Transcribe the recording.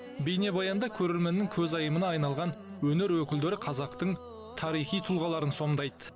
бейнебаянда көрерменнің көзайымына айналған өнер өкілдері қазақтың тарихи тұлғаларын сомдайды